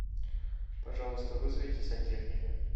пожалуйста вызовите сантехника